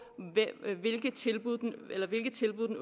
hvilke tilbud den